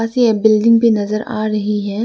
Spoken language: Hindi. बिल्डिंग भी नजर आ रही है।